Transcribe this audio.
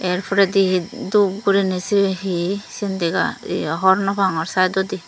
yer poredi hi dup guriney sibey hi syen dega ye hogor no pagor saaidodi.